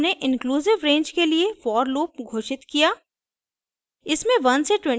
इस उदाहरण में हमने इंक्लूसिव रेंज के लिए for लूप घोषित किया